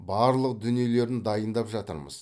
барлық дүниелерін дайындап жатырмыз